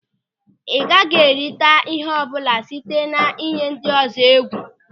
Ị gaghị erita ihe ọbụla site na-iyi ndịọzọ egwu.